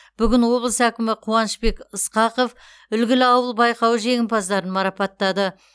бүгін облыс әкімі қуанышбек ысқақов үлгілі ауыл байқауы жеңімпаздарын марапаттады